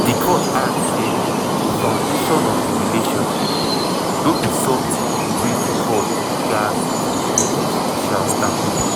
di court add say "di foundation of di relationship no be sometin wey di court gatz to give judicial stamp."